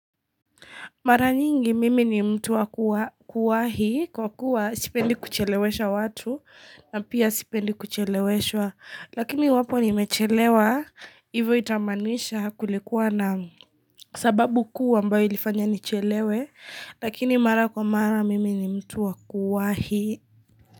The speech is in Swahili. Mara nyingi mimi ni mtu wakuwahi kwa kuwa sipendi kuchelewesha watu na pia sipendi kucheleweshwa lakini iwapo nimechelewa hivyo itammanisha kulikuwa na sababu kuu ambayo ilifanya nichelewe lakini mara kwa mara mimi ni mtu wakuwahi.